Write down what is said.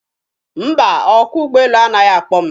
Mba, ọkwọ ụgbọelu anaghị akpọ m.